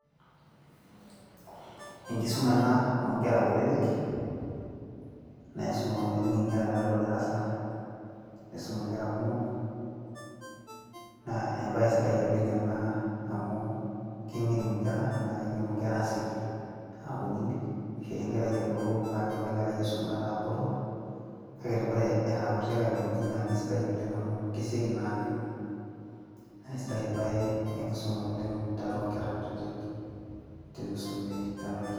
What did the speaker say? enkisuma ena oonkera kutitik, neisum ormalimui inkera tiatua darasa, nisum inkera kumok. na ebae sidai oleng ena amu keng'enu inkera naa kengenu nkera aasioki, aakunini. kishori enkerai ebulu paa kelotu enkerai aisuma etaa botor. kake ore era kutitik aikoji naa kisidai oleng amu kesioki naa aang'enu. naa isidai ebae enkisuma oleng, tiatua nkera kutitik tenisumi tena oitoi.